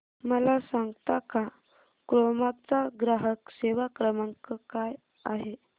मला सांगता का क्रोमा चा ग्राहक सेवा क्रमांक काय आहे